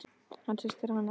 Hann hristir hana aftur.